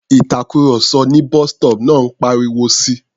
Ìtàkurọ̀sọ ní bus-stop náà ń pariwo si.